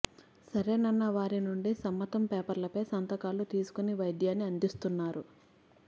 సరేనన్న వారి నుండి సమ్మ తం పేపర్లపై సంతకా లు తీసుకొని వైద్యాన్ని అందిస్తున్నారు